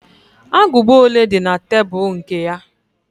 Agụba ole di na tebul nke ya?